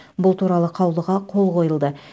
бұл туралы қаулыға қол қойылды